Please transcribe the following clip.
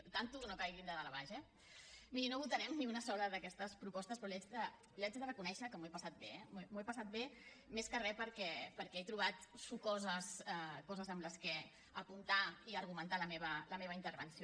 compte no caiguin de dalt a baix eh miri no votarem ni una sola d’aquestes propostes però li haig de reconèixer que m’ho he passat bé eh m’ho he passat bé més que re perquè he trobat sucoses coses amb què apuntar i argumentar la meva intervenció